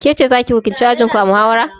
Kece zaki wakilci ajinku a muhawara?